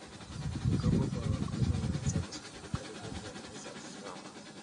Mikopo kwa wakulima inaweza kusaidia katika kuendeleza shamba.